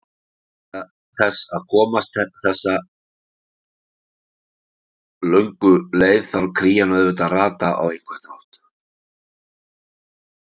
Til þess að komast þessu löngu leið þarf krían auðvitað að rata á einhvern hátt.